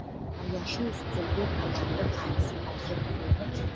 даяшы үстелге кальянды тамызып әкеп қойды